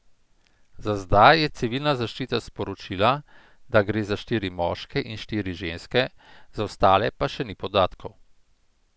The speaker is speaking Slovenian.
Za zdaj je civilna zaščita sporočila, da gre za štiri moške in štiri ženske, za ostale pa še ni podatkov.